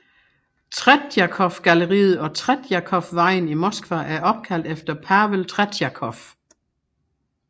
Tretjakovgalleriet og Tretjakovvejen i Moskva er opkaldt efter Pavel Tretjakov